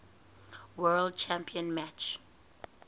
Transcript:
world championship match